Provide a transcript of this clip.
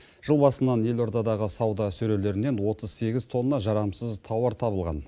жыл басынан елордадағы сауда сөрелерінен отыз сегіз тонна жарамсыз тауар табылған